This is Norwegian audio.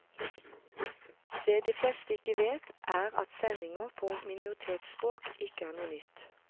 Det de fleste ikke vet, er at sendinger på minoritetsspråk, ikke er noe nytt.